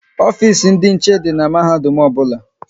Ofisi ndị nche dị n'mahadum ọbụla